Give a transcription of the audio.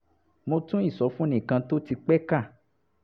mo tún ìsọfúnni kan tó ti pẹ́ kà